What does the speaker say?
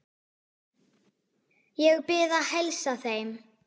Ég bið að heilsa þeim.